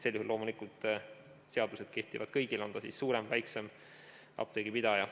Loomulikult kehtivad seadused kõigile, on ta siis suurem või väiksem apteegipidaja.